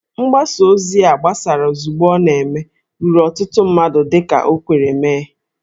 Mgbasa ozi a gbasara ozugbo ọ na-eme ruru ọtụtụ mmadụ dị ka o kwere mee